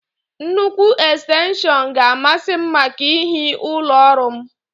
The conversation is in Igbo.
Nnukwu ekstenshọn ga a masị m màkà ihi ụlọ ọrụ m